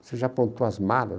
Você já aprontou as malas?